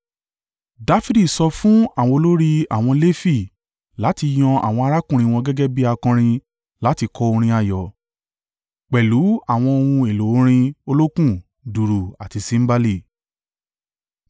Dafidi sọ fún àwọn olórí àwọn Lefi láti yan àwọn arákùnrin wọn gẹ́gẹ́ bí akọrin láti kọ orin ayọ̀, pẹ̀lú àwọn ohun èlò orin olókùn, dùùrù, àti símbálì.